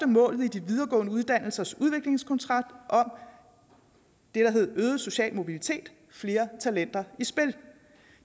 mål i de videregående uddannelsers udviklingskontrakt der hed øget social mobilitet flere talenter i spil